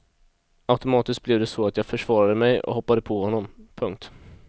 Automatiskt blev det så att jag försvarade mig och hoppade på honom. punkt